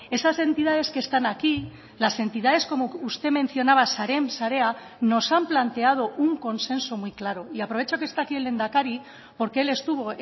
esas entidades que están aquí las entidades como usted mencionaba sareen sarea nos han planteado un consenso muy claro y aprovecho que está aquí el lehendakari porque él estuvo